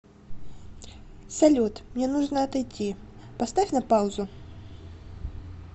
салют мне нужно отойти поставь на паузу